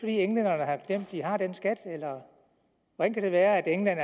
at englænderne har glemt at de har den skat eller hvordan kan det være at england